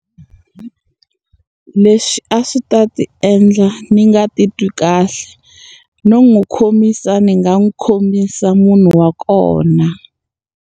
Leswi a swi ta ni endla ni nga titwi kahle. No n'wi khomisa ni nga n'wi khomisa munhu wa kona.